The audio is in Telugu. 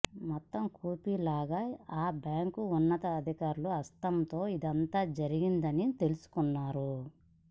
మొత్తం కూపీలాగా ఆ బ్యాంక్ ఉన్నతాధికారుల హస్తంతో ఇదంతా జరిగిందని తెలుసుకున్నారు